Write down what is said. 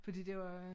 Fordi de var